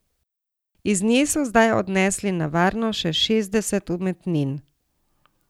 Iz nje so zdaj odnesli na varno še šestdeset umetnin.